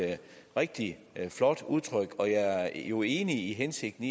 rigtig flot udtryk og jeg er jo enig i hensigten